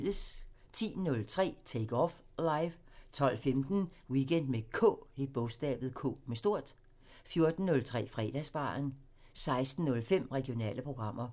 10:03: Take Off Live 12:15: Weekend med K 14:03: Fredagsbaren 16:05: Regionale programmer